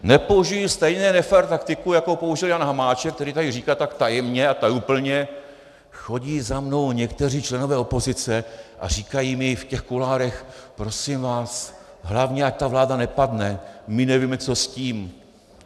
Nepoužiji stejně nefér taktiku, jakou použil Jan Hamáček, který tady říká tak tajemně a tajuplně: Chodí za mnou někteří členové opozice a říkají mi v těch kuloárech: Prosím vás, hlavně ať ta vláda nepadne, my nevíme, co s tím.